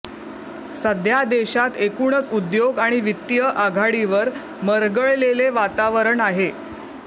सध्या देशात एकूणच उद्योग आणि वित्तीय आघाडीवर मरगळलेले वातावरण आहे